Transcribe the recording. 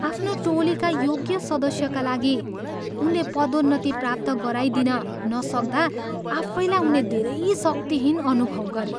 आफ्नो टोलीका योग्य सदस्यका लागि उनले पदोन्नति प्राप्त गराइदिन नसक्दा आफैलाई उनले धेरै शक्तिहीन अनुभव गरे।